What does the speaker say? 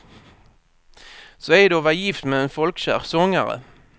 Så är det att vara gift med en folkkär sångare.